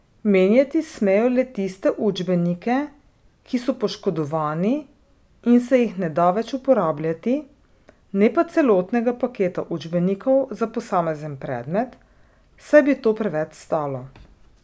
Menjati smejo le tiste učbenike, ki so poškodovani in se jih ne da več uporabljati, ne pa celotnega paketa učbenikov za posamezen predmet, saj bi to preveč stalo.